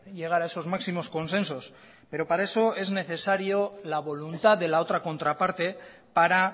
llegar a esos máximos consensos pero para eso es necesario la voluntad de la otra contraparte para